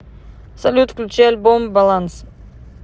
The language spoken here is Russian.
салют включи альбом баланс